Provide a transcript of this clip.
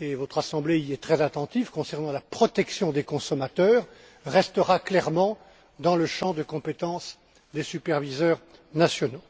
et votre Assemblée y est très attentive concernant la protection des consommateurs resteront clairement dans le champ de compétence des superviseurs nationaux.